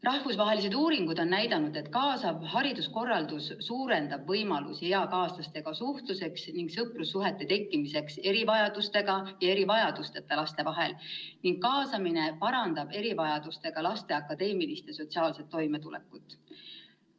Rahvusvahelised uuringud on näidanud, et kaasav hariduskorraldus suurendab võimalusi eakaaslastega suhtluseks ning sõprussuhete tekkimiseks erivajadustega ja erivajadusteta laste vahel ning kaasamine parandab erivajadustega laste akadeemilist ja sotsiaalset toimetulekut.